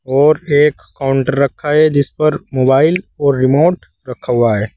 और एक काउंटर रखा है जिस पर मोबाइल और रिमोट रखा हुआ है।